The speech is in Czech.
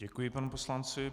Děkuji panu poslanci.